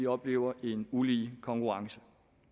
oplever ulige konkurrence